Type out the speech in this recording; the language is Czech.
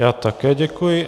Já také děkuji.